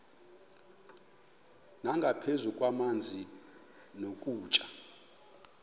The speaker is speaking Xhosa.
nangaphezu kwamanzi nokutya